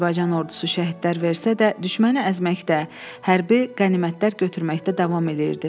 Azərbaycan ordusu şəhidlər versə də, düşməni əzməkdə, hərbi qənimətlər götürməkdə davam eləyirdi.